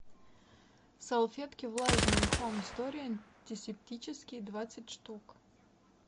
салфетки влажные хоум стори антисептические двадцать штук